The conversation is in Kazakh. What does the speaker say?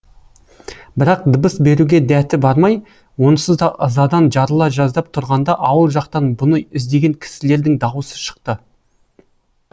бірақ дыбыс беруге дәті бармай онсыз да ызадан жарыла жаздап тұрғанда ауыл жақтан бұны іздеген кісілердің даусы шықты